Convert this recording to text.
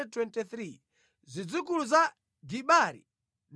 zidzukulu za Gibari 95.